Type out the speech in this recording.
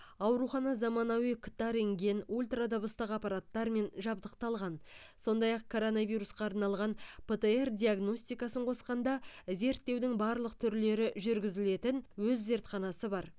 аурухана заманауи кт рентген ультрадыбыстық аппараттармен жабдықталған сондай ақ коронавирусқа арналған птр диагностикасын қосқанда зерттеудің барлық түрлері жүргізілетін өз зертханасы бар